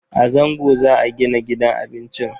A Zango za a gina gidan abincin.